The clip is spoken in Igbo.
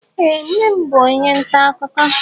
Ee, nnem bú onye ntà akụkọ